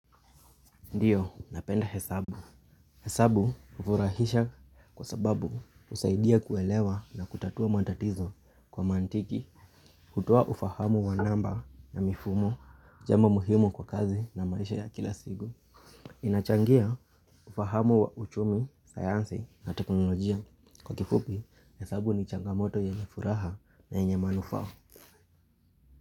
Ndiyo, napenda hesabu. Hesabu ufurahisha kwa sababu usaidia kuelewa na kutatua matatizo kwa mantiki hutoa ufahamu wa namba na mifumo jambo muhimu kwa kazi na maisha ya kila sigu. Inachangia ufahamu wa uchumi, sayansi na teknolojia. Kwa kifupi, hesabu ni changamoto yenye furaha na yenye manufaa.